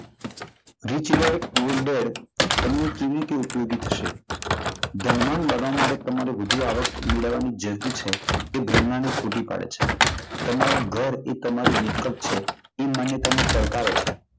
રીચીયર ગુડવેર તમને કેવી રીતે ઉપયોગી થશે? ધનવાન બનવા માટે વધુ આવક મેળવવાની જરૂર છે એ બ્રહ્મણા ને ખોટી પડે છે. તમારું ઘર તમારી મિલકત છે એ તમને પડકારે છે.